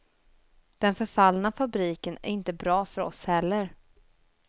Den förfallna fabriken är inte bra för oss heller.